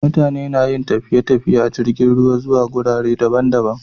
Mutane nayin tafiye tafiye a jirgin ruwa zuwa gurare daban daban